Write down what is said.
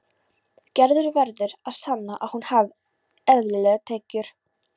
Gerður verður að sanna að hún hafi eðlilegar tekjur.